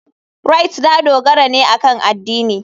Rite ta dogara ne akan addini.